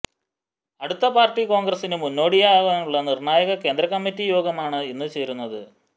അടുത്ത പാര്ട്ടി കോണ്ഗ്രസിനു മുന്നോടിയായുള്ള നിര്ണ്ണായക കേന്ദ്ര കമ്മിറ്റി യോഗമാണ് ഇന്ന് ചേരുന്നത്